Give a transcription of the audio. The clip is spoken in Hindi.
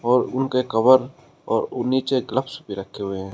और उनके कवर और नीचे ग्लब्स भी रखे हुए हैं।